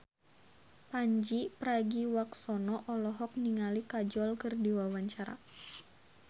Pandji Pragiwaksono olohok ningali Kajol keur diwawancara